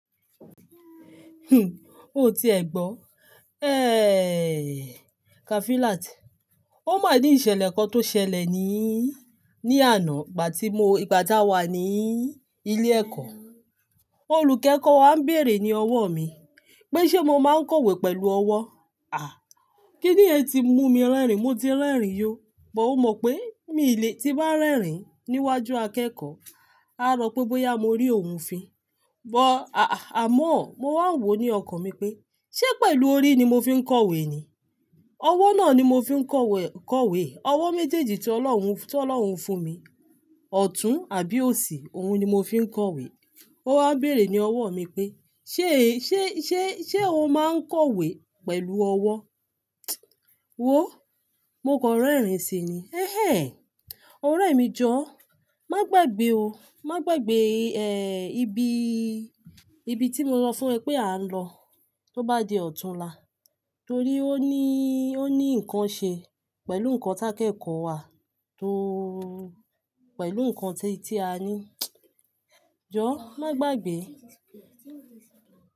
O ti ẹ̀ gbọ́, eh, Kafilat. Ó máa ní ìṣẹ̀lẹ̀ kan tó ṣẹlẹ̀ níí, ní àná ìgbà tí mo, ìgbà táa wà níí ilé ẹ̀kọ́. Olùkẹ́kọ̀ọ́ wa ń bèèrè ní ọwọ́ mi pé ṣé mo máa ń kọ̀wé pẹ̀lú ọwọ́? À, kí ni yen ti mú mi rẹ́rìn, mo ti rẹ́rìn yó. But ó mọ̀ pé míi le, tí n bá rẹ́rìn níwájú akẹ́kọ̀ọ́, á ro pé bóyá mo rí òun fin. But àh, àmọ́ mo wá ń wò ó ní ọkàn mi pé ṣé pẹ̀lú orí ni mo fi ń kọ̀wé ni? Ọwọ́ náà ni mo fi ń kọ̀wẹ̀, kọ̀wé. Ọwọ́ méjèèjì tí Ọlọ́run, tí Ọlọ́run fún mi. Ọ̀tún àbí òsì, òun ni mo fi ń kọ̀wé. Ó wá bèèrè ní ọwọ́ mi pé ṣé, ṣé, ṣé, ṣé o máa ń kọ̀wé pẹ̀lú ọwọ́? Wòó, mo kan rẹ́rìn si ni. Ẹ̀hẹn! Ọ̀rẹ́ mi jọ́, má gbàgbé o, má gbàgbé, ẹ́, ibi, ibi tí mo sọ fún ẹ pé à ń lọ. Tó bá di ọ̀túnla. Torí ó ní, ó ní nǹkan ṣe pẹ̀lú nǹkan tákẹ́kọ̀ọ́ wa tó pẹ̀lú nǹkan ti, tí a ní. Jọ́, má gbàgbé.